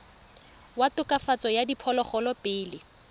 wa tokafatso ya diphologolo pele